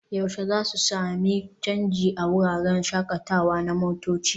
yaushe za su sami canji a wuraren shakatawa na motoci?